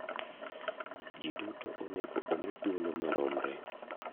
Ji duto onego omi thuolo maromre.